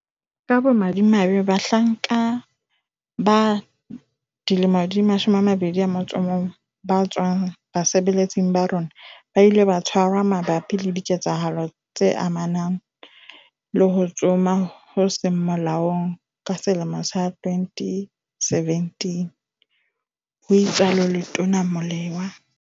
"Ka bomadimabe, bahlanka ba 21 ba tswang basebeletsing ba rona, ba ile ba tshwarwa mabapi le diketsahalo tse amanang le ho tsoma ho seng molaong ka 2017," ho itsalo Letona Molewa.